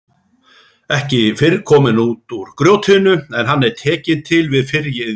Ekki fyrr kominn út úr grjótinu en hann er tekinn til við fyrri iðju.